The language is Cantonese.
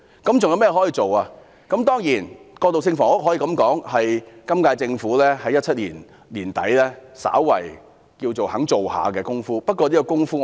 當然我們可以說，過渡性房屋是今屆政府在2017年年底稍微可稱為願意做的工夫，不過我希望這工夫......